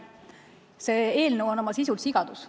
See eelnõu on oma sisult sigadus.